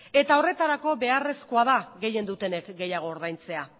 eta horretarako beharrezkoa da gehien dutenek gehiago ordaintzea